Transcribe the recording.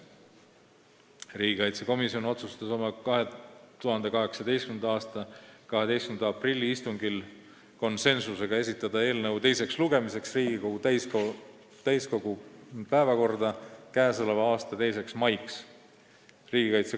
Riigikaitsekomisjon otsustas oma 2018. aasta 12. aprilli istungil esitada eelnõu teiseks lugemiseks Riigikogu täiskogu päevakorda 2. maiks.